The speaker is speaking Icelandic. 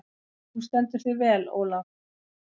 Þú stendur þig vel, Olav!